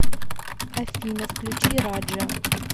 афина включи раджа